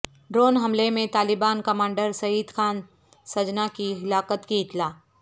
drone حملے میں Taliban commander Syed Khan Sajna کی ہلاکت کی اطلاع